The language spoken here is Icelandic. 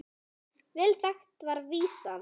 Vel þekkt er vísan